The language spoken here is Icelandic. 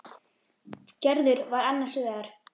Gerður var annars vegar.